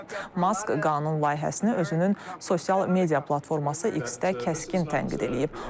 Mask qanun layihəsini özünün sosial media platforması X-də kəskin tənqid eləyib.